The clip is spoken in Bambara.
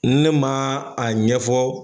Ne ma a ɲɛ fɔ